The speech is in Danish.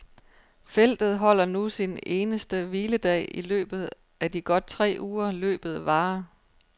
Feltet holder nu sin eneste hviledag i løbet af de godt tre uger, løbet varer.